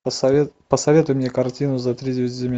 посоветуй мне картину за тридевять земель